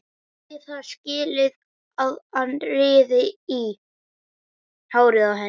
Eigi það skilið að hann rífi í hárið á henni.